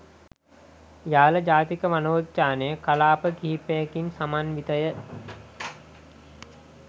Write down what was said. යාල ජාතික වනෝද්‍යානය කලාප කිහිපයකින් සමන්විතය.